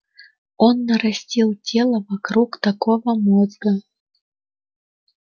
он нарастил тело вокруг такого мозга